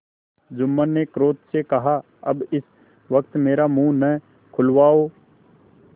जुम्मन ने क्रोध से कहाअब इस वक्त मेरा मुँह न खुलवाओ